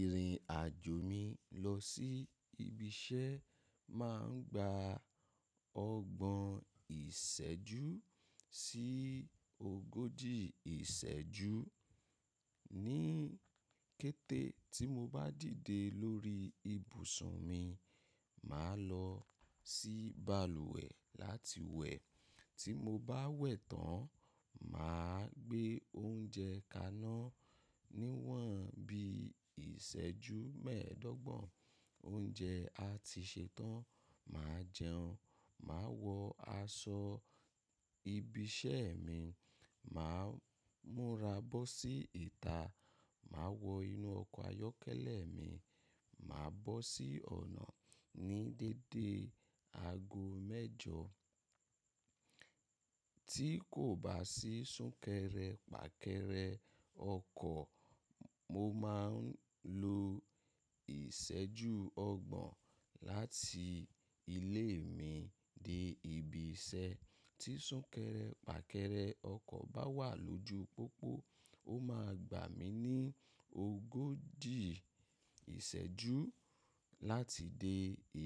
Ìrìn àjò mi lọ sí ibi iṣẹ́ máa ń gba ọgbọ̀n ìṣẹ́jú sí ogójì ìṣẹ́jú. Ní kété tí mo bá dìde lórí ibùsùn mi, màá lọ sí balùwẹ̀ láti wẹ̀. Tí mo bá wẹ̀ tán, màa á gbé oúnjẹ kaná níwọ̀n bí i ìṣẹ́jú mẹ́ẹ̀ẹ́dọ́gbọ̀n. Oúnjẹ á ti ṣẹ tán, màá jẹun. Màá wọ aṣọ ibi iṣẹ́ mi, màá múra bọ́ sí ìta, màá wọ inú ọkọ̀ ayọ́kẹ́lẹ́ mi, màa bọ́ sí ọ̀nà ní dédé aago mẹ́jọ. Tí kò bá sí súnkẹrẹ fàkẹrẹ ọkọ̀, mo máa ń lo ìṣẹ́jú ọgbọ̀n láti ilé mi dé ibi iṣẹ́. Tí súnkẹrẹ fàkẹrẹ ọkọ̀ bá wà lójú pópó, ó máa gbà mí ní ogójì ìṣẹ́jú láti dé